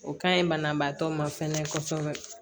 O ka ɲi banabaatɔ ma fɛnɛ kɔsɔbɛ